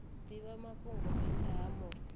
divha mafhungo phanda ha musi